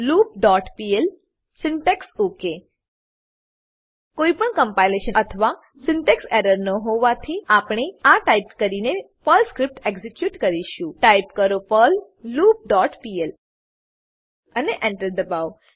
loop dot pl syntax ok કોઈપણ compilation અથવા syntax error ન હોવાથી આપણે આ ટાઈપ કરીને પર્લ સ્ક્રીપ્ટ એક્ઝીક્યુટ કરીશું ટાઈપ કરો પર્લ લૂપ ડોટ પીએલ અને Enter એન્ટર દબાવો